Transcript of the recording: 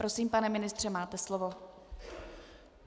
Prosím, pane ministře, máte slovo.